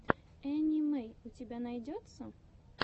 энни мэй у тебя найдется